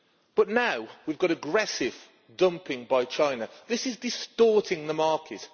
But now we have aggressive dumping by China, which is distorting the market.